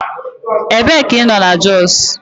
Ebee ka ị nọ na Jos?